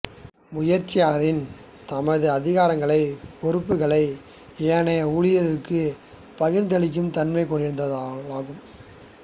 முயற்சியாளரிள் தமது அதிகாரங்கள் பொறுப்புக்களை ஏனைய ஊழியர்களுக்கு பகிர்ந்தளிக்கும் தன்மை கொண்டிருத்தலாகும்